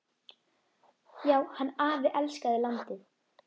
Já, hann afi elskaði landið.